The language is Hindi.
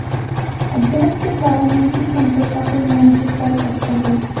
अभ्यास के द्वारा मन की चंचलता को नियंत्रित कर सकते हैं